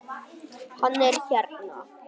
Hann er hérna